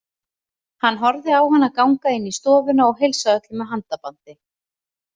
Hann horfði á hann ganga inn í stofuna og heilsa öllum með handabandi.